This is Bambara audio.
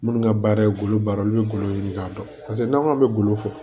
Minnu ka baara ye goloba ye olu bɛ golo ɲini k'a dɔn paseke n'an k'anw bɛ golo fɔ